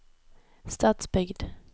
Stadsbygd